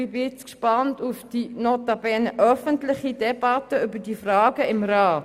Ich bin jetzt gespannt auf die – notabene öffentliche – Debatte über diese Fragen im Rat.